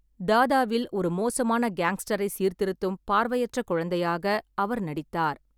தாதாவில் ஒரு மோசமான கேங்ஸ்டரை சீர்திருத்தும் பார்வையற்ற குழந்தையாக அவர் நடித்தார்.